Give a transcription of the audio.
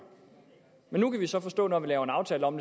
nu kan vi så forstå at når vi laver en aftale om